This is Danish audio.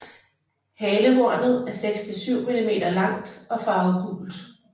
Halehornet er 6 til 7 mm langt og farvet gult